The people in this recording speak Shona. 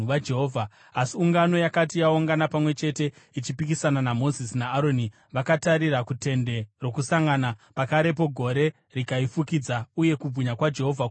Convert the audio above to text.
Asi ungano yakati yaungana pamwe chete ichipikisana naMozisi naAroni vakatarira kuTende Rokusangana, pakarepo gore rikaifukidza uye kubwinya kwaJehovha kukaonekwa.